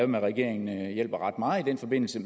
med regeringen hjælper ret meget i den forbindelse